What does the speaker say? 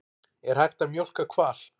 Er hægt að mjólka hval?